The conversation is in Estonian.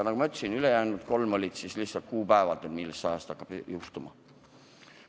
Nagu ma ütlesin, olid ülejäänud kolm muudatust seotud lihtsalt kuupäevadega, mis ajast midagi juhtuma hakkab.